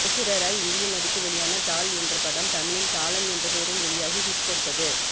ஐஸ்வர்யா ராய் இந்தியில் நடித்து வெளியான தாள் என்ற படம் தமிழில் தாளம் என்ற பெயரில் வெளியாகி ஹிட் கொடுத்தது